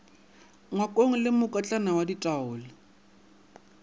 ngwakong le mokotlana wa ditaola